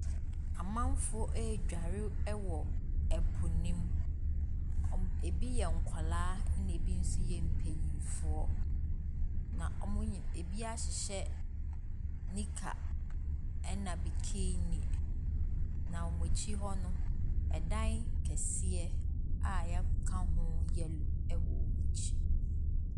Amanfoɔ redware wɔ ɛpo no mu. Ebi yɛ nkwadaa ɛna ebi nso yɛ mpanimfoɔ. Na wɔn nyin ebi ahyehyɛ nika ɛna bikini. Na wɔn akyi no, ɛdan kɛseɛ a yɛaka ho yellow wɔ wɔn akyi.